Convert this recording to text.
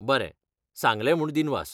बरें, सांगलें म्हूण दिनवास.